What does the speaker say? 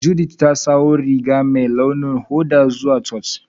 Judith ta sawo duguwan Riga mai ruwan hoda zuwa Church.